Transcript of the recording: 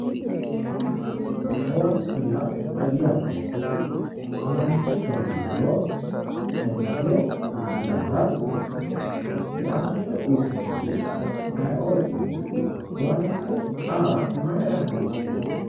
Owaante yaa mayate owantete dani giddo onte kulte dandato owante uyitanori ayiooti owaante aa mayira hasiisu?